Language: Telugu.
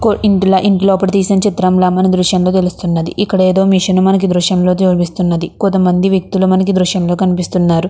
కో ఇందులో ఇంటి లోపల తీసిన చిత్రంలా మన దృశ్యం లో తెలుస్తున్నది. ఇక్కడ ఎదో మెషిన్ మనకి ఈ దృశ్యం లో చుపిస్తున్నది. కొంత మంది వ్యక్తులు మనకి ఈ దృశ్యం లో కనిపిస్తున్నారు.